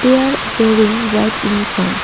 They are wearing white uniforms.